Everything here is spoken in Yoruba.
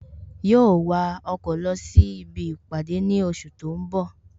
Yóó wa ọkọ̀ lọ sí ibi ìpàdé ní oṣù tó ń bọ̀